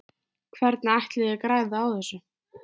Hvernig ætlið þið að græða á þessu?